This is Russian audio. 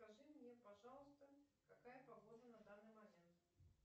скажи мне пожалуйста какая погода на данный момент